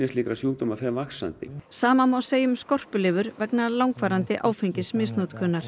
slíkra sjúkdóma fer vaxandi sama má segja um skorpulifur vegna langvarandi